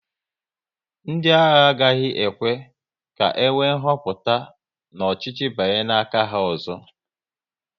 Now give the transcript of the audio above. Ndị agha agaghị ekwe ka enwe nhoputa n'ọchịchị banye n'aka ha ọzọ